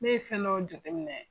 Ne ye fɛn dɔw jate minɛ.